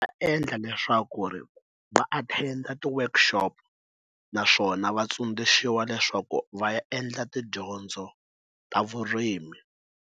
Endla leswaku ri va a tender ti work exopo naswona va tsundzuxiwa leswaku va ya endla tidyondzo ta vurimi.